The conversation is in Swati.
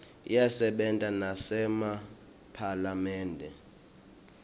iyasebenta nasema phalamende